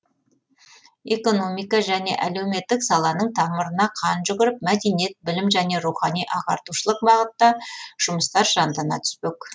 экономика және әлеуметтік саланың тамырына қан жүгіріп мәдениет білім және рухани ағартушылық бағытта жұмыстар жандана түспек